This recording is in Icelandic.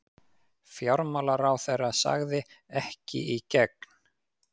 Fjármálaráðherra sagði: Ekki í gegn.